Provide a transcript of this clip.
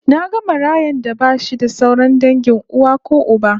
Naga marayan da bashi da sauran dangin uwa ko uba